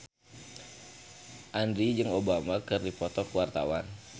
Andien jeung Obama keur dipoto ku wartawan